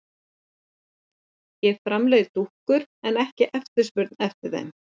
Ég framleiði dúkkur en ekki eftirspurn eftir þeim.